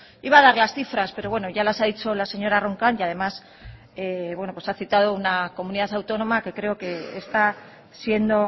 iba a dar las cifras pero bueno ya las ha dicho la señora roncal y además bueno pues ha citado una comunidad autónoma que creo que está siendo